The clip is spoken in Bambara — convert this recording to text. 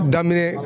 Daminɛ